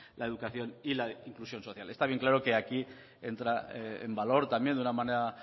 la educación y la inclusión social está bien claro que aquí entra en valor también de una manera